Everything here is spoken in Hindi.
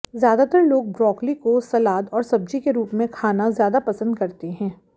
ज्यादातर लोग ब्रोकली को सलाद और सब्जी के रूप में खाना ज्यादा पसंद करते है